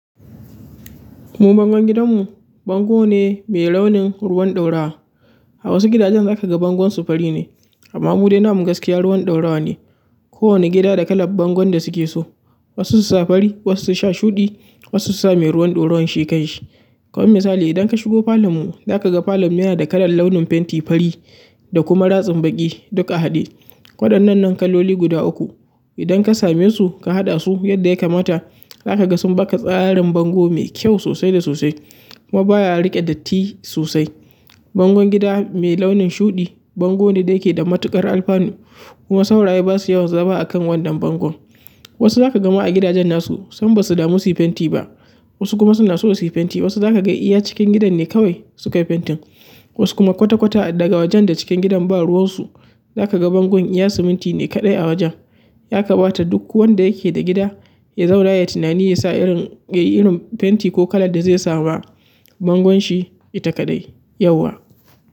Mu bangon gidanmu, bango ne mai launin ruwan ɗorowa. A wasu gidajen za ka ga bangon su fari ne amma mu dai na gaskiya ruwan ɗaurowa ne. Kowane gida da kalan bangon da suke so. Wasu su sa fari, wasu su sa shuɗi, wasu su sa mai ruwan ɗaurowan shi kanshi. Kaman misali idan ka shigo falon mu, za ka ga falon mu yana da kalan launin fenti fari da kuma ratsin baƙi duk a haɗe. Waɗannan kaloli guda uku. Idan ka same su, ka haɗa su yadda ya kamata, za ka ga sun baka tsarin bango mai kyau sosai da sosai. Kuma baya riƙe datti sosai. Bangon gida mai launin shuɗi, bango ne da yake da matuƙar alfanu kuma sauraye ba su yawan zama a kan wannan bangon. Wasu za ka ga ma a gidajen nasu, sam ba su damu su yi fenti ba. Wasu kuma suna so su yi fenti. Wasu za ka ga iya cikin gidan ne kawai suka yi fentin. Wasu kuma kwata-kwata daga wajen da cikin gidan ba ruwan su, za ka ga bangon iya siminti ne kaɗai a wajen. Ya kamata duk wanda yake da gida, ya zauna ya tunani, ya sa irin, ya yi irin fenti ko kalan da zai sa wa bangon shi, ita kaɗai yauwa.